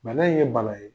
Bana in ye bana ye